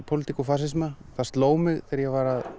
pólitík og fasisma það sló mig þegar ég var að